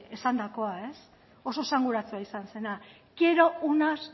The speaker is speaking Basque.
esandakoa oso esanguratsua izan zena quiero unas